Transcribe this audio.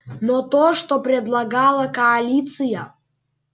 но то что предлагала коалиция